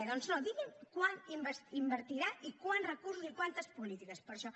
doncs no digui’m quant invertirà i quants recursos i quantes polítiques per a això